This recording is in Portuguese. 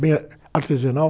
Bem ah, artesanal.